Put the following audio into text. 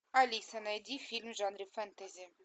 алиса найди фильм в жанре фэнтези